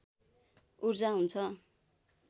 ऊर्जा हुन्छ